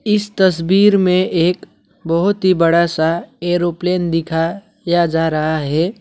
इस तस्वीर में एक बहोत ही बड़ा सा एरोप्लेन दिखाया जा रहा है।